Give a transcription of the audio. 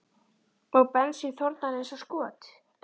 Og bensín þornar eins og skot.